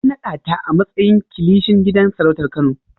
A naɗa ta a matsayin Kilishin gidan sarautar Kano!